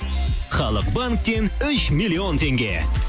халық банктен үш миллион теңге